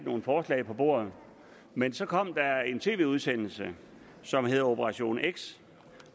nogen forslag på bordet men så kom der en tv udsendelse som hedder operation x